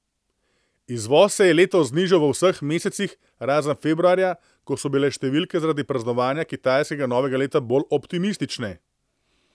Izvoz se je letos znižal v vseh mesecih, razen februarja, ko so bile številke zaradi praznovanja kitajskega novega leta bolj optimistične.